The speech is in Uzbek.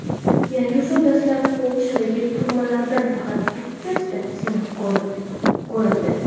Yangi usul dastlab Polshadagi turmalardan faqat bittasida sinab ko‘rildi.